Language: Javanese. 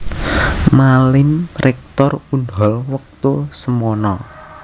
Malim Rektor Unhol wektu semana